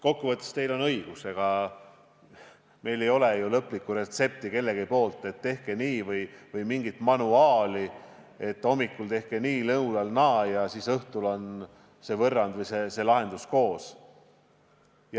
Kokkuvõttes on teil õigus, meil ei ole lõplikku retsepti, et tehke nii, või mingit manuaali, et hommikul tehke nii, lõunal naa ja siis õhtul mõlemat koos.